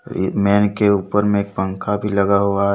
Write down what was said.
Main के ऊपर में पंखा भी लगा हुआ है।